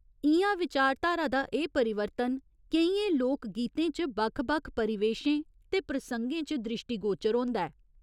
इ'यां विचारधारा दा एह् परिवर्तन केइयें लोक गीतें च बक्ख बक्ख परिवेशें ते प्रसंगें च द्रिश्टीगोचर होंदा ऐ।